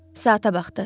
Saata baxdı.